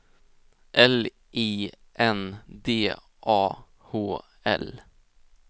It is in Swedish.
L I N D A H L